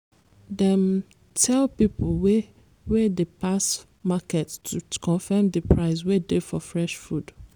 dem tell people wey wey dey pass market to confirm the price wey dey for fresh food.